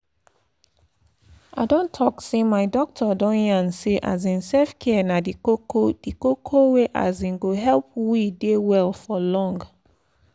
i dey talk say my doctor don yarn say um self-care na the koko the koko wey um go help we dey well for long run.